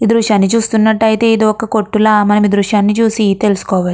ఈ దృశ్యాన్ని చూసినట్లయితే ఇది ఒక కొట్టు లా మనం ఈ దృశ్యాన్ని చూసి తెలుసుకోవచ్చు.